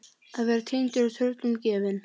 Að vera týndur og tröllum gefin